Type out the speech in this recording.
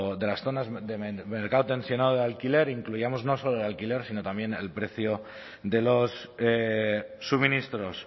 de las zonas de mercado tensionado de alquiler incluyamos no solo el alquiler sino también al precio de los suministros